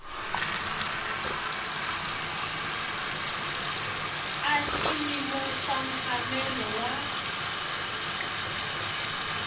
a xiyimo xa mphamelo wa